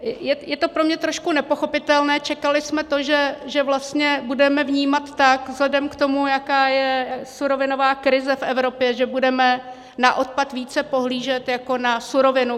Je to pro mě trošku nepochopitelné, čekali jsme to, že vlastně budeme vnímat tak, vzhledem k tomu, jaká je surovinová krize v Evropě, že budeme na odpad více pohlížet jako na surovinu.